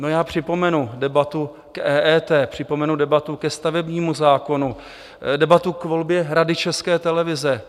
No, já připomenu debatu k EET, připomenu debatu ke stavebnímu zákonu, debatu k volbě Rady České televize.